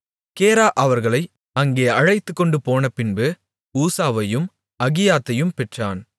கேரா அவர்களை அங்கே அழைத்துக்கொண்டு போனபின்பு ஊசாவையும் அகியாதையும் பெற்றான்